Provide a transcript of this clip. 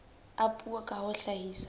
a puo ka ho hlahisa